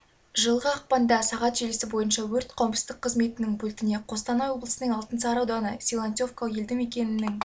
жылғы қпанда сағат желісі бойынша өрт қауіпсіздік қызметінің пультіне қостанай облысының алтынсары ауданы силантьевка елді мекенінің